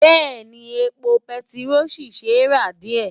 Bẹ́ẹ̀ni, epo bẹntiró ṣì ṣe é rà díẹ̀.